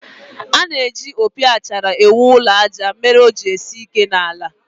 A na-eji opi achara ewu ụlọ àjà mere o ji esi ike n'ala